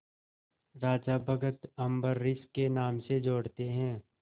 राजा भक्त अम्बरीश के नाम से जोड़ते हैं